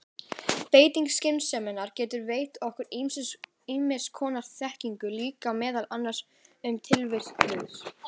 Beiting skynseminnar getur veitt okkur ýmiss konar þekkingu líka, meðal annars um tilvist guðs.